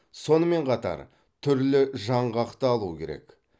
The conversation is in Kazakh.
сонымен қатар түрлі жаңғақты алу керек